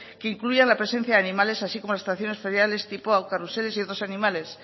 que incluyan la presencia de animales así como las atracciones feriales tipo carruseles y otros animales